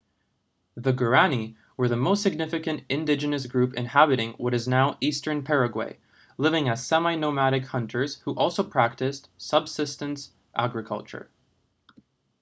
the guaraní were the most significant indigenous group inhabiting what is now eastern paraguay living as semi-nomadic hunters who also practised subsistence agriculture